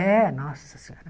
É, nossa senhora.